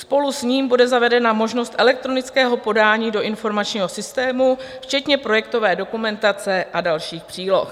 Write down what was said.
Spolu s ním bude zavedena možnost elektronického podání do informačního systému, včetně projektové dokumentace a dalších příloh.